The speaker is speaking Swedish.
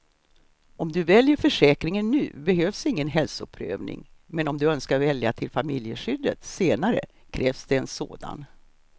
Om du väljer försäkringen nu behövs ingen hälsoprövning, men om du önskar välja till familjeskyddet senare krävs det en sådan.